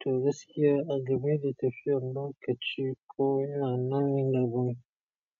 Toh gaskiya, a game da tafiyan lokaci ko ina nan gaba